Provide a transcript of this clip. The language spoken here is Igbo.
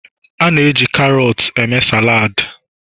A na-eji karots eme saladi